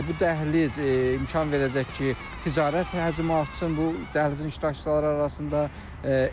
Bu dəhliz imkan verəcək ki, ticarət həcmi artsın bu dəhlizin iştirakçıları arasında.